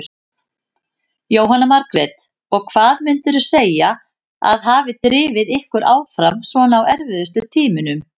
Jóhanna Margrét: Og hvað myndirðu segja að hafi drifið ykkur áfram svona á erfiðustu tímunum?